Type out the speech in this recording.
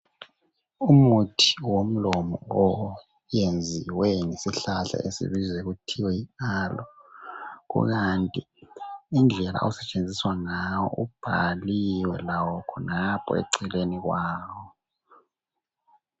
Umuthi womlomo oyenziwe ngesihlahla esibizwa kuthiwa yiAlo, kukanti indlela osetshenziswa ngawo ubhaliwe lawo khonapho eceleni kwawo.